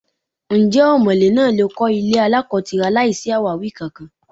Ǹjẹ́ ọmọ̀lé náà lè kọ́ ilé aláko-tira láìsí àwáwí kankan?